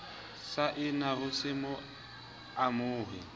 saena ho se mo amohe